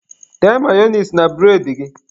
Tee mayonise na bụredị gị.